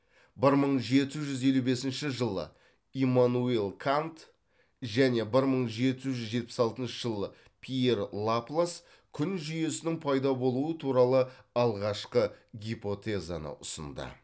бір мың жеті жүз елу бесінші жылы иммануил кант және бір мың жеті жүз жетпіс алтыншы жылы пьер лаплас күн жүйесінің пайда болуы туралы алғашқы гипотезаны ұсынды